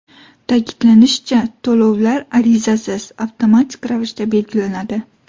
Ta’kidlanishicha, to‘lovlar arizasiz, avtomatik ravishda belgilanadi.